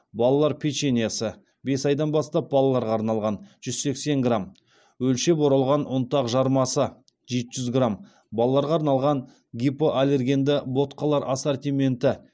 балалар печеньесі жүз сексен грамм өлшеп оралған ұнтақ жармасы жеті жүз грамм балаларға арналған гипоаллергенді ботқалар ассортименті